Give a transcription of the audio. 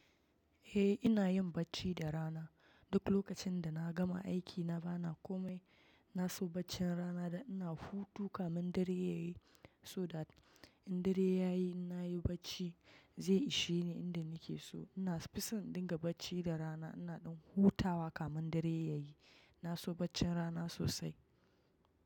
Eh ina yin bacci da rana. Duk lokacin dana gama aikina bana komai, naso baccin rana da ina hutu kamin dare yayi so that in dare yayi na so bscci zai ishe ni inda nake so. Ina fison in dinga bacci da rana ina dan hutawa kamin dare yayi. Na so bacci rana sosai.